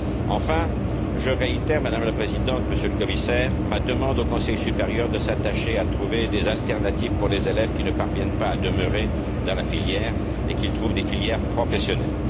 Enfin, je réitère, Madame la Présidente, Monsieur le Commissaire, ma demande au Conseil supérieur de s'attacher à trouver des alternatives pour permettre aux élèves qui ne parviennent pas à demeurer dans la filière de trouver des filières professionnelles.